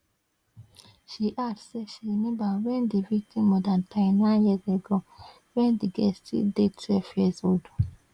she add say she remember wen di victim mother die nine years ago wen di girl still dey twelve years old